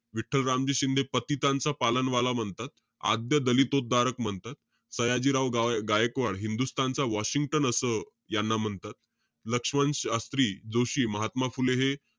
विठ्ठल रामजी शिंदे पतितांचा पालनवाला म्हणतात. आद्य दलिततोध्दारक म्हणतात. सयाजीराव गा~ गायकवाड, हिंदुस्थानचं वॉशिंग्टन असं यांना म्हणतात. लक्ष्मण शास्त्री जोशी, महात्मा फुले हे,